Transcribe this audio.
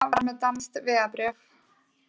Einn mannanna var með danskt vegabréf